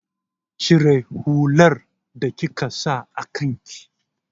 Cire hular da kika sa a kan ki!